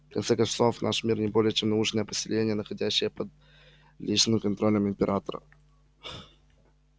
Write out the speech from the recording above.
в конце концов наш мир не более чем научное поселение находящееся под личным контролем императора